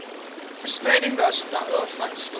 verspreiding daarvan stop